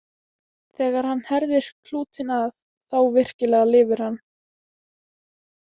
Þegar hann herðir klútinn að, þá virkilega lifir hann.